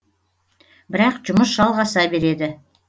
бірақ жұмыс жалғаса береді